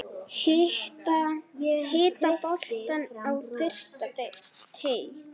Hitta boltann á fyrsta teig.